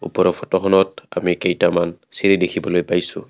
ওপৰৰ ফটোখনত আমি কেইটামান চিৰি দেখিবলৈ পাইছোঁ।